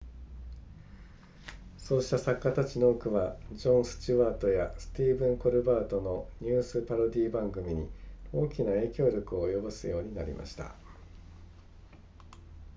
そうした作家たちの多くはジョンスチュワートやスティーブンコルバートのニュースパロディ番組に大きな影響力を及ぼすようになりました